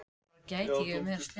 Ég ætti að skamm